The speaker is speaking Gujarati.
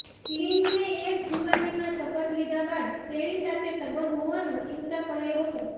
ક્લિન્ટને એક જુબાનીમાં શપથ લીધા બાદ તેણી સાથે સંબંધ હોવાનો ઇનકાર કર્યો હતો